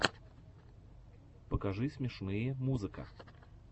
покажи смешные музыка